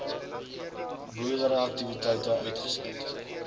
boerdery aktiwiteite uitgesluit